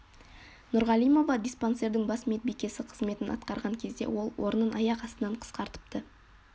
нұрғалимова диспансердің бас медбикесі қызметін атқарған кезде ол орнын аяқ астынан қысқартыпты